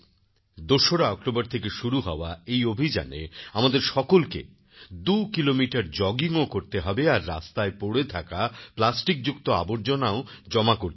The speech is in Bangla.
২ অক্টোবর থেকে শুরু হওয়া এই অভিযানে আমাদের সকলকে দুকিলোমিটার জগিংও করতে হবে আর রাস্তায় পড়ে থাকা প্লাস্টিকযুক্ত আবর্জনাও জমা করতে হবে